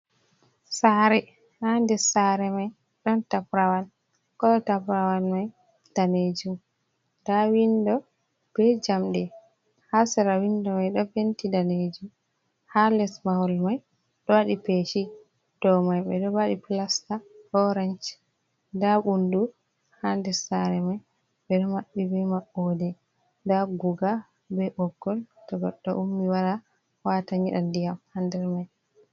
sare, ha ndes sare mai don taprawal koo taprawal mai danejum, nda windo be jamde hasara windo mai do penti danejum, ha les mahol mai do wadi peshi do mai be do badi plasta orange, nda ɓundu ha des sare mai be do mabbi be mabode, nda guga be ɓoggol to goddo ummi wara wata nyeda diyam hander mai.